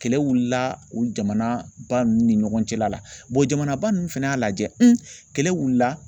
Kɛlɛ wulila o jamanaba ninnu ni ɲɔgɔn cɛla la jamanaba ninnu fɛnɛ y'a lajɛ kɛlɛ wulila.